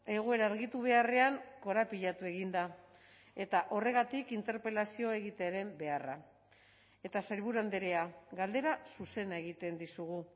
egoera argitu beharrean korapilatu egin da eta horregatik interpelazio egitearen beharra eta sailburu andrea galdera zuzena egiten dizugu